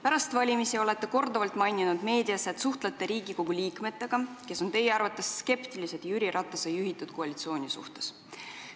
Pärast valimisi olete meedias korduvalt maininud, et suhtlete Riigikogu liikmetega, kes on teie arvates skeptilised Jüri Ratase juhitava koalitsiooni suhtes.